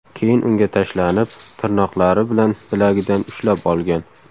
Keyin unga tashlanib, tirnoqlari bilan bilagidan ushlab olgan.